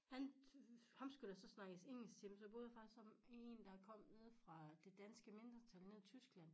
Han ham skulle der så snakkes engelsk til men så boede jeg faktisk sammen en der kom nede fra det danske mindretal nede i Tyskland